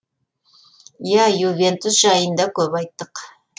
иә ювентус жайында көп айттық